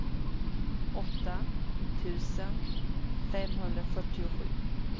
åtta tusen femhundrafyrtiosju